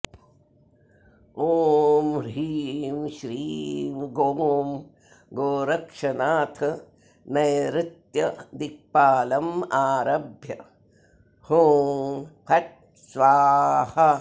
ॐ ह्रीं श्रीं गों गोरक्षनाथ नैरृत्यदिक्पालमारभ्य हुँ फट् स्वाहा